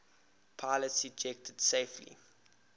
pilots ejected safely